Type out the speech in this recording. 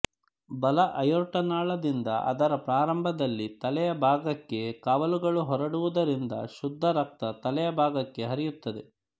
ಬಲ ಅಯೋರ್ಟ ನಾಳದಿಂದ ಅದರ ಪ್ರಾರಂಭದಲ್ಲಿ ತಲೆಯ ಭಾಗಕ್ಕೆ ಕವಲುಗಳು ಹೊರಡುವುದರಿಂದ ಶುದ್ಧರಕ್ತ ತಲೆಯಭಾಗಕ್ಕೆ ಹರಿಯುತ್ತದೆ